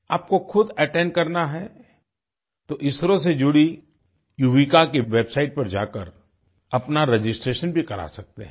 आपको खुद अटेंड करना हैं तो इसरो से जुड़ी युविका की वेबसाइट पर जाकर अपना रजिस्ट्रेशन भी करा सकते हैं